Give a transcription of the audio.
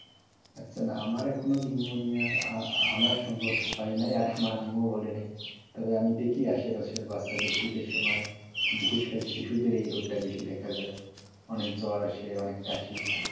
আচ্ছা আমার এখনও নিউমোনিয়া আনা সম্ভব হয় না আর আমার আম্মুও বলে নাই তবে আমি দেখি আশে পাশের বাচ্চাদের শীতের সময় বেশি বিশেষ করে শিশুদের এই রোগটা বেশি দেখা যায় অনেক জ্বর আসে কাঁশি,